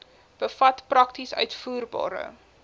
bevat prakties uitvoerbare